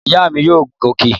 Ìyá mi yóò gun òkè